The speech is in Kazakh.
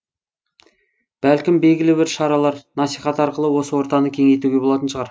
бәлкім белгілі бір шаралар насихат арқылы осы ортаны кеңейтуге болатын шығар